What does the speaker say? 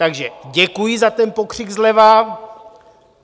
Takže děkuji za ten pokřik zleva.